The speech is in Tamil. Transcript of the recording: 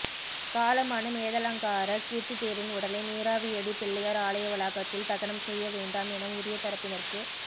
காலமான மேதலங்கார கீர்த்தி தேரின் உடலை நீராவியடி பிள்ளையார் ஆலய வளாகத்தில் தகனம் செய்ய வேண்டாம் என உரிய தரப்பினருக்கு